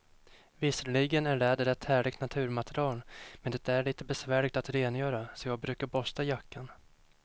Visserligen är läder ett härligt naturmaterial, men det är lite besvärligt att rengöra, så jag brukar borsta jackan.